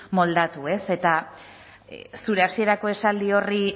moldatu eta zure hasierako esaldi horri